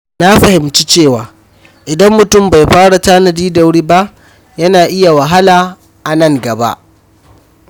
Na fahimci cewa idan mutum bai fara tanadi da wuri ba, yana iya wahala a nan gaba.